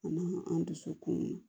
An an dusu kun